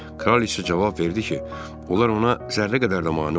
Kraliça cavab verdi ki, onlar ona zərrə qədər də mane olmur.